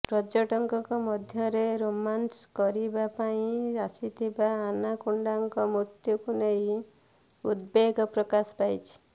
ପର୍ଯ୍ୟଟକଙ୍କ ମଧ୍ୟରେ ରୋମାଞ୍ଚ ଭରିବା ପାଇଁ ଆସିଥିବା ଆନାକୋଣ୍ଡାଙ୍କ ମୃତ୍ୟୁକୁ ନେଇ ଉଦବେଗ ପ୍ରକାଶ ପାଇଛି